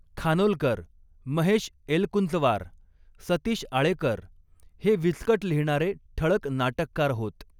खानोलकर, महेश एलकुंचवार, सतीश आळेकर हे विचकट लिहिणारे ठळक नाटककार होत.